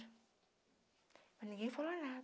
Mas ninguém falou nada.